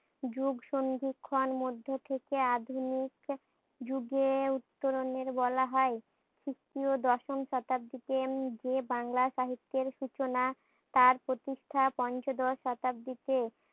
যুগ সন্ধিক্ষণ মধ্যে থেকে আদিম যুগে উত্তরণের বলা হয়। খ্রিষ্টীয় দশম শতাব্দীতে উম যে বাংলা সাহিত্যের সূচনা তার প্রতীক্ষা পঞ্চদশ শতাব্দীতে।